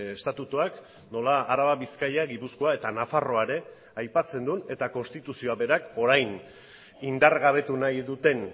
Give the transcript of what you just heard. estatutuak nola araba bizkaia gipuzkoa eta nafarroa ere aipatzen duen eta konstituzioa berak orain indargabetu nahi duten